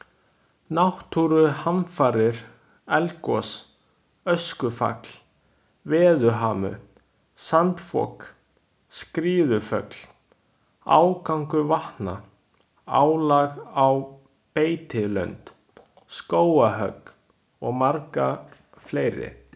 Náttúruhamfarir, eldgos, öskufall, veðurhamur, sandfok, skriðuföll, ágangur vatna, álag á beitilönd, skógarhögg og margar fleiri.